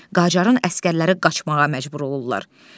Qacarın əsgərləri qaçmağa məcbur olurlar.